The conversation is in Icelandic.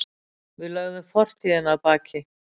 Við lögðum fortíðina að baki.